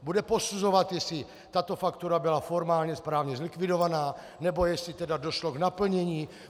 Bude posuzovat, jestli tato faktura byla formálně správně zlikvidovaná, nebo jestli tedy došlo k naplnění?